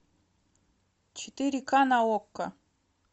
четыре ка на окко